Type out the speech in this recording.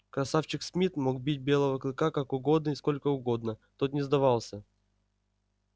красавчик смит мог бить белого клыка как угодно и сколько угодно тот не сдавался